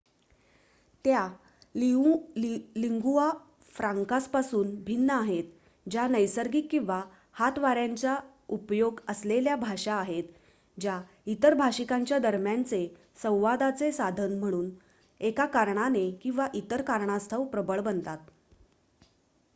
त्या लिंगुआ फ्रँकासपासून भिन्न आहेत ज्या नैसर्गिक किंवा हातवाऱ्यांचा उपयोग असलेल्या भाषा आहेत ज्या इतर भाषिकांच्या दरम्यानचे संवादाचे साधन म्हणून एका कारणाने किंवा इतर कारणास्तव प्रबळ बनतात